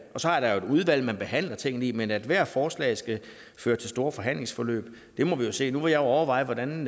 så er der jo et udvalg man behandler tingene i men om ethvert forslag skal føre til store forhandlingsforløb det må vi jo se nu vil jeg overveje hvordan